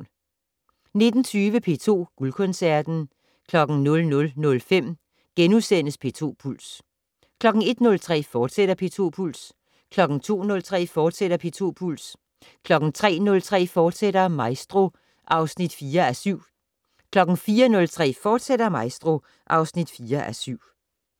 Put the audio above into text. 19:20: P2 Guldkoncerten 00:05: P2 Puls * 01:03: P2 Puls, fortsat 02:03: P2 Puls, fortsat 03:03: Maestro (4:7)* 04:03: Maestro, fortsat (4:7)